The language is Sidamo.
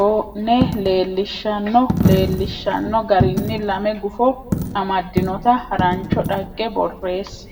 o ne leellishanno leellishshanno garinni lame gufo amaddinota harancho dhagge borreesse.